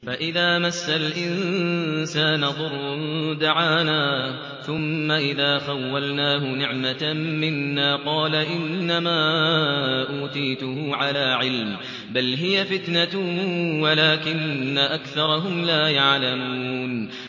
فَإِذَا مَسَّ الْإِنسَانَ ضُرٌّ دَعَانَا ثُمَّ إِذَا خَوَّلْنَاهُ نِعْمَةً مِّنَّا قَالَ إِنَّمَا أُوتِيتُهُ عَلَىٰ عِلْمٍ ۚ بَلْ هِيَ فِتْنَةٌ وَلَٰكِنَّ أَكْثَرَهُمْ لَا يَعْلَمُونَ